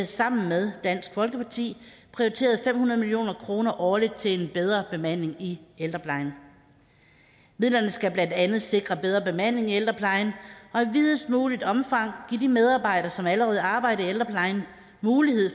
sammen med dansk folkeparti prioriteret fem hundrede million kroner årligt til bedre bemanding i ældreplejen midlerne skal blandt andet sikre bedre bemanding i ældreplejen og i videst muligt omfang give de medarbejdere som allerede arbejder i ældreplejen mulighed